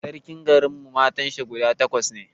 Sarkin garin mu matan shi guda takwas ne